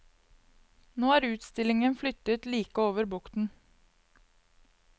Nå er utstillingen flyttet like over bukten.